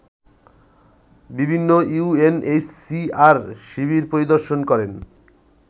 বিভিন্ন ইউএনএইচসিআর শিবির পরিদর্শন করেন